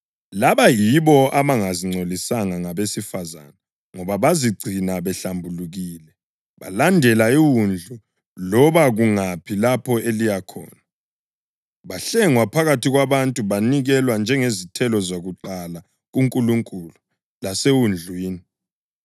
Laba yilabo abangazingcolisanga ngabesifazane ngoba bazigcina behlambulukile. Balandela iWundlu loba kungaphi lapho eliya khona. Bahlengwa phakathi kwabantu banikelwa njengezithelo zakuqala kuNkulunkulu laseWundlwini.